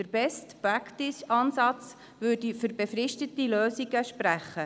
Der BestPractice-Ansatz würde für befristete Lösungen sprechen.